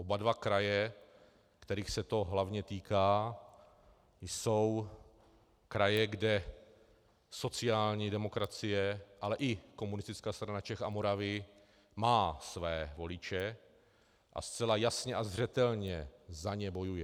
Oba dva kraje, kterých se to hlavně týká, jsou kraje, kde sociální demokracie, ale i Komunistická strana Čech a Moravy má své voliče a zcela jasně a zřetelně za ně bojuje.